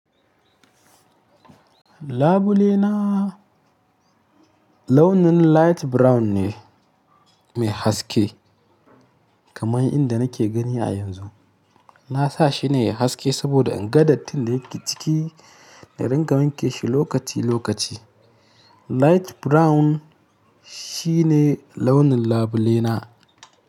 Labule na launin light brown ne mai haske kamar inda nake gani a yanzu. Na sa shi ne ya haske saboda in gadar tin da yake ciki na ringa wanke shi lokaci lokaci. Light brown shi ne launin labule na.